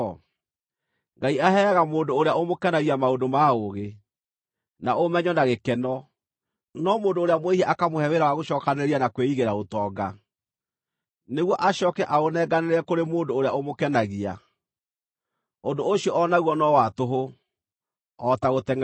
Ngai aheaga mũndũ ũrĩa ũmũkenagia maũndũ ma ũũgĩ, na ũmenyo, na gĩkeno, no mũndũ ũrĩa mwĩhia akamũhe wĩra wa gũcookanĩrĩria na kwĩigĩra ũtonga, nĩguo acooke aũnenganĩre kũrĩ mũndũ ũrĩa ũmũkenagia. Ũndũ ũcio o naguo no wa tũhũ, o ta gũtengʼeria rũhuho.